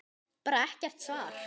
Bara er ekkert svar.